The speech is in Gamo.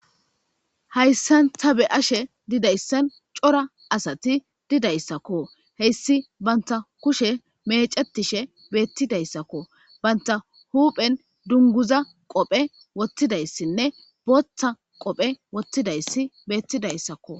Hayssan ta be ashe didayssan cora asati didayssakko heyssi banta kushe mecetishe beettidayssakko banta huuphen dunguza qophe wottidayssinne booththa qophe wottidayssi beettidayssakko.